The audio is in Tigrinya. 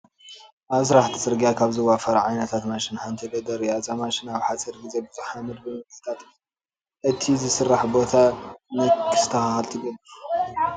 ኣብ ስራሕቲ ፅርጊያ ካብ ዝዋፈራ ዓይነታት ማሽን ሓንቲ ሎደር እያ፡፡ እዛ ማሽን ኣብ ሓፂር ግዜ ብዙሕ ሓመድ ብምግሓጥ እቲ ዝስራሕ ቦታ ንክስተኻኸል ትገብር፡፡